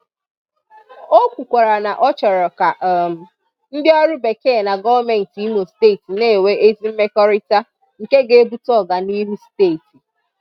Ó kwukwàrà na ọ chọ́rọ̀ ka um ndị ọrụ Bekee na gọ́ọ̀mentị Ìmò Steeti na-enwe ezi mmekọrịta nke ga-ebute ọ̀ganịhụ Steeti.